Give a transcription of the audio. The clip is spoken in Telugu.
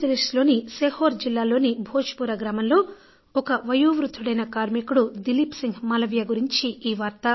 మధ్యప్రదేశ్ లోని సిహోర్ జిల్లాలోని భోజ్పురా గ్రామంలో ఒక వయోవృద్ధుడైన కార్మికుడు దిలీప్ సిన్హ్ మాలవీయ గురించి ఈ వార్త